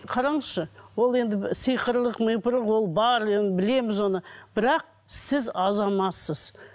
қараңызшы ол енді сиқырлық ол бар енді білеміз оны бірақ сіз азаматсыз